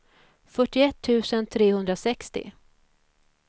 fyrtioett tusen trehundrasextio